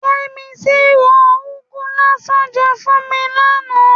Yẹ́misí ro úgú lásán jẹ fún mi lánàá.